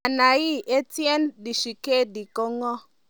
Ana ii, Etienne Tshisekedi ko ng'o?